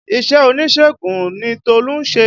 Iṣẹ́ oníṣègùn ni Tolu ń ṣe